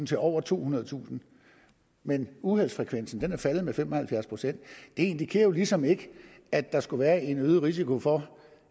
til over tohundredetusind men uheldsfrekvensen er faldet med fem og halvfjerds procent det indikerer jo ligesom ikke at der skulle være en øget risiko for